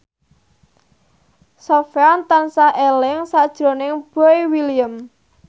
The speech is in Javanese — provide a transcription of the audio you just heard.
Sofyan tansah eling sakjroning Boy William